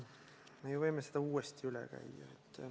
Me võime selle uuesti üle käia.